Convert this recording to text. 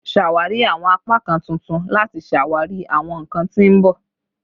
Ṣawari awọn apakan tuntun lati ṣawari awọn nkan ti n bọ